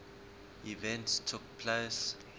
events took place